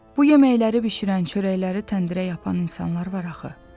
Bu yeməkləri bişirən çörəkləri təndirə yapan insanlar var axı.